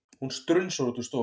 Hún strunsar út úr stofunni.